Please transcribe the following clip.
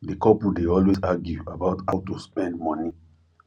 di couple dey always argue about how to spend money